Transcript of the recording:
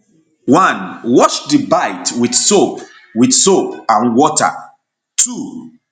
1 wash di bite wit soap wit soap and water 2